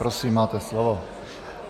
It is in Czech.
Prosím, máte slovo.